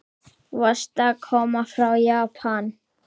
Varstu að koma frá Japan?